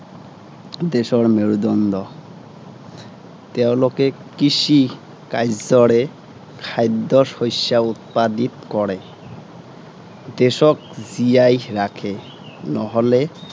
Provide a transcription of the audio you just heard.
দেশৰ মেৰুদণ্ড তেওঁলোকে কৃষি কাৰ্যৰে, খাদ্য় শস্য়া উৎপাদিত কৰে। দেশক জীয়াই ৰাখে। নহলে